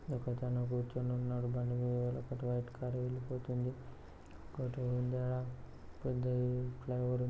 ఒకతను కూర్చుని ఉన్నాడు బండిమీద. అటు వైట్ కారు వెళ్ళిపోతుంది. పెద్దది ఫ్లైఓవర్ --